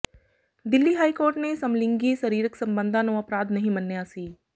Delhi high court ਨੇ ਸਮਲਿੰਗੀ ਸਰੀਰਕ ਸਬੰਧਾਂ ਨੂੰ ਅਪਰਾਧ ਨਹੀਂ ਮੰਨਿਆ ਸੀ